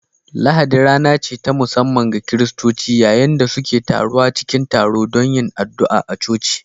Lahadi rana ce ta musamman ga Kiristoci, yayin da suke taruwa cikin taro don yin addu’a a coci